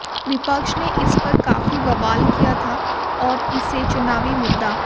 विपक्ष ने इस पर काफी बवाल किया था और इसे चुनावी मुद्दा